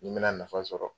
Nin bɛna nafa sɔrɔ